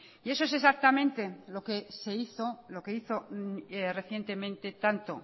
y eso es exactamente lo que se hizo lo que hizo recientemente tanto